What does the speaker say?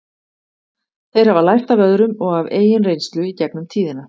Þeir hafa lært af öðrum og af eigin reynslu í gegnum tíðina.